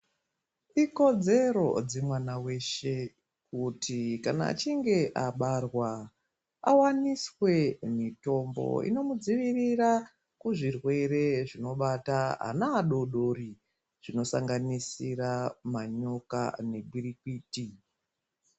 Ikodzero dzemwana weshe kuti kuna achinge abarwa, awaniswe mitombo inomudzivirira kuzvirwere zvinobata ana adodori , zvinosanganisira manyoka negwirikwiti.